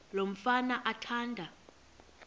lo mfana athanda